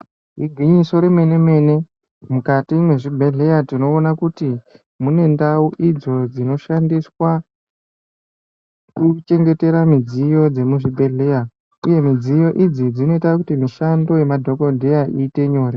Igwinyiso remene-mene. Mukati mwezvibhedhleya tinoona kuti mune ndau idzo dzinoshandiswa kuchengetera midziyo dzemuzvibhedhleya uye midziyo idzi dzinoita kuti mishando yemadhokodheya iite nyore.